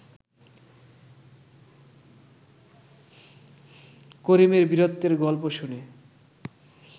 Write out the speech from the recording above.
করিমের বীরত্বের গল্প শুনে